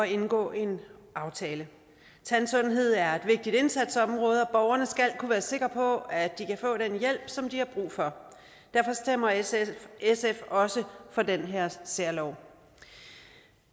indgå en aftale tandsundhed er et vigtigt indsatsområde og skal kunne være sikre på at de kan få den hjælp som de har brug for derfor stemmer sf også for den her særlov